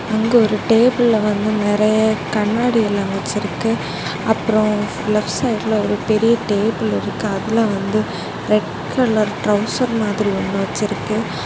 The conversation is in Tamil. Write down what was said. அங்கு ஒரு டேபிள்ல வந்து நெறைய கண்ணாடில்லாம் வெச்சிருக்கு அப்புறம் லெப்ட் சைடுல ஒரு பெரிய டேபிள் இருக்கு அதுல வந்து ரெட் கலர் ட்ரவுசர் மாதிரி ஒன்னு வச்சிருக்கு.